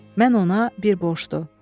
Mən ona bir borcluyam.